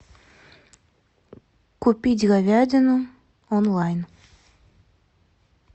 купить говядину онлайн